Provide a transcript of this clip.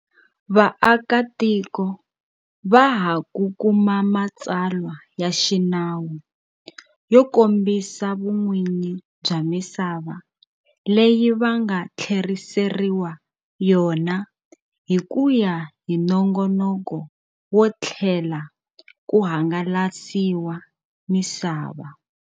Vaakatiko va ha ku kuma matsalwa ya xinawu yo kombi sa vun'winyi bya misava leyi va nga tlheriseriwa yona hi ku ya hi nongonoko wo tlhela ku hangalasiwa misava.